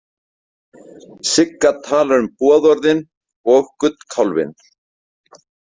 Sigga talar um boðorðin og gullkálfinn.